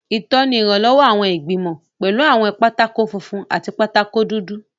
Ìtọ́ni ìrànlọ́wọ́ àwọn ìgbìmọ̀, pẹ̀lú àwọn pátákó funfun àti pátákó dúdú.